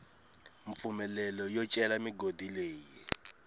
mpfumelelo yo cela migodi leyi